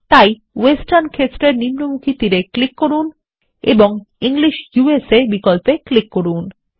তাই ওয়েস্টার্ন ক্ষেত্রের নিম্নমুখী তীর এ ক্লিক করুন এবং ইংলিশ ইউএসএ বিকল্পে ক্লিক করুন